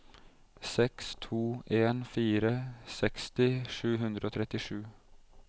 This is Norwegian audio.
seks to en fire seksti sju hundre og trettisju